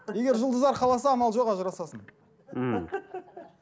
егер жұлдыздар қаласа амал жоқ ажырасасың мхм